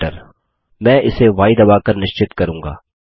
Enter मैं इसे य दबा कर निश्चित करूँगा